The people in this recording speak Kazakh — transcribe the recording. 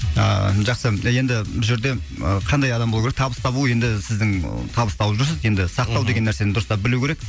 ааа жақсы енді бұл жерде і қандай адам болу керек табыс табу енді сіздің табыс тауып жүрсіз енді сақтау деген нәрсені дұрыстап білу керек